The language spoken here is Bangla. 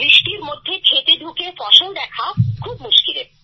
বৃষ্টির মধ্যে ক্ষেতে ঢুকে ফসল দেখা খুব মুশকিলের